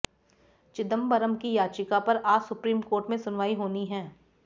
चिदंबरम की याचिका पर आज सुप्रीम कोर्ट में सुनवाई होनी है